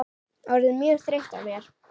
Orðin mjög þreytt á mér.